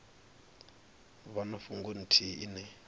vha na fhungo ithihi ine